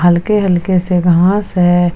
हल्के हल्के से घांस है।